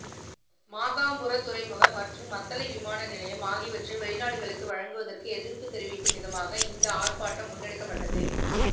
மாகம்புர துறைமுகம் மற்றும் மத்தளை விமான நிலையம் ஆகியவற்றை வௌிநாடுகளுக்கு வழங்குவதற்கு எதிர்ப்பு தெரிவிக்கும் விதமாக இந்த ஆர்ப்பாட்டம் முன்னெடுக்கப்பட்டது